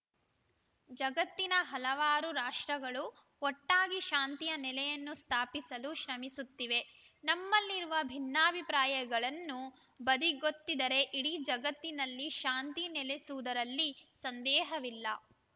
ಜಗತ್ತಿನ ಹಲವಾರು ರಾಷ್ಟ್ರಗಳು ಒಟ್ಟಾಗಿ ಶಾಂತಿಯ ನೆಲೆಯನ್ನು ಸ್ಥಾಪಿಸಲು ಶ್ರಮಿಸುತ್ತಿವೆ ನಮ್ಮಲ್ಲಿರುವ ಭಿನ್ನಾಭಿಪ್ರಾಯಗಳನ್ನು ಬದಿಗೊತ್ತಿದರೆ ಇಡೀ ಜಗತ್ತಿನಲ್ಲಿ ಶಾಂತಿ ನೆಲೆಸುವುದರಲ್ಲಿ ಸಂದೇಹವಿಲ್ಲ